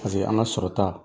Paseke an ka sɔrɔta